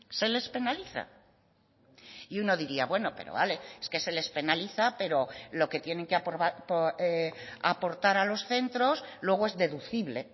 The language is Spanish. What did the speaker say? se les penaliza y uno diría bueno pero vale es que se les penaliza pero lo que tienen que aportar a los centros luego es deducible